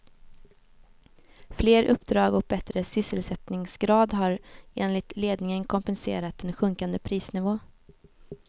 Fler uppdrag och bättre sysselsättningsgrad har enligt ledningen kompenserat en sjunkande prisnivå.